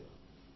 నమస్తే